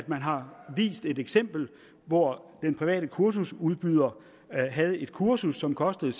man har vist et eksempel hvor den private kursusudbyder havde et kursus som kostede